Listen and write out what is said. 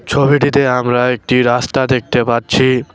ছবিটিতে আমরা একটি রাস্তা দেখতে পাচ্ছি।